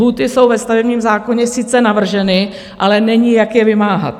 Lhůty jsou ve stavebním zákoně sice navrženy, ale není, jak je vymáhat.